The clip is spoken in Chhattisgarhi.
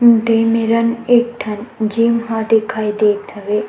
दे मेरन एक ठन जिम ह दिखाई देत हवे।